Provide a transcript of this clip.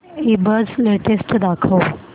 ईबझ लेटेस्ट दाखव